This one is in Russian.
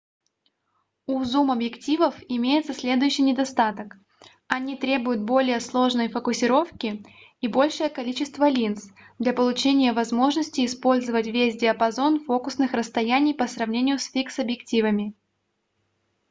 у зум-объективов имеется следующий недостаток они требуют более сложной фокусировки и большее количество линз для получения возможности использовать весь диапазон фокусных расстояний по сравнению с фикс-объективами